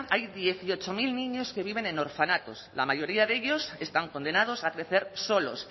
hay dieciocho mil niños que viven en orfanatos la mayoría de ellos están condenados a crecer solos